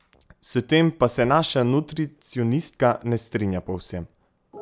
S tem pa se naša nutricionistka ne strinja povsem.